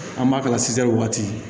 An b'a kala waati